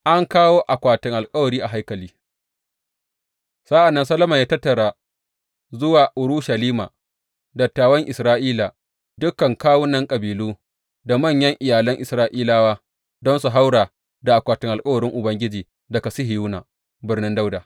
An kawo akwatin alkawari a haikali Sa’an nan Solomon ya tattara zuwa Urushalima dattawan Isra’ila, dukan kawunan kabilu da manyan iyalan Isra’ilawa, don su haura da akwatin alkawarin Ubangiji daga Sihiyona, Birnin Dawuda.